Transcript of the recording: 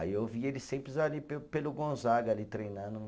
Aí eu vi eles sempre ali pe pelo Gonzaga, ali treinando.